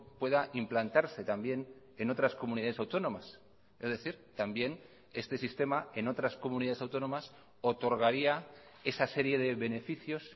pueda implantarse también en otras comunidades autónomas es decir también este sistema en otras comunidades autónomas otorgaría esa serie de beneficios